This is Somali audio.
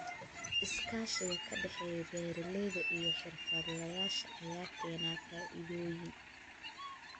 Iskaashiga ka dhexeeya beeralayda iyo xirfadlayaasha ayaa keena faa'iidooyin.